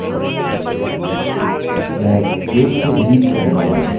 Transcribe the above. मैं change को delete से बदलूँगा